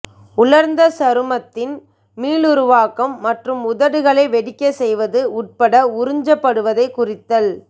உலர்ந்த சருமத்தின் மீளுருவாக்கம் மற்றும் உதடுகளை வெடிக்கச் செய்வது உட்பட உறிஞ்சப்படுவதைக் குறைத்தல்